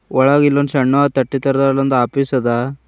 ಒಳಗ ಇಲ್ಲೊಂದ ಸಣ್ಣು ತಟ್ಟಿ ತರಹದ ಆಫೀಸ್ ಅದ.